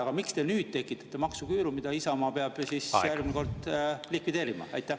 Aga miks te nüüd tekitate maksuküüru, mida Isamaa peab siis järgmine kord likvideerima?